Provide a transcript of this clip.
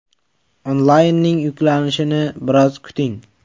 Onlaynning yuklanishini biroz kuting.